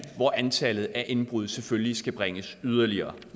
og at antallet af indbrud selvfølgelig skal bringes yderligere